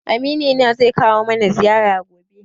Amini na zai kawo mana ziyara gobe.